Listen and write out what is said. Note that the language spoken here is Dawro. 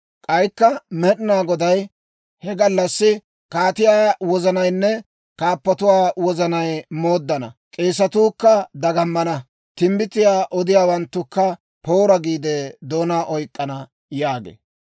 K'aykka Med'inaa Goday, «He gallassi, kaatiyaa wozanaynne kaappotuwaa wozanay yayyana. K'eesetuukka dagamana. Timbbitiyaa odiyaawanttukka, ‹Poora!› giide doonaa oyk'k'ana» yaagee.